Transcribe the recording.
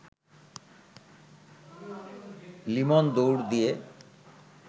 লিমন দৌড় দিয়ে